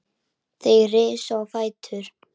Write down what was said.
Þeir risu á fætur.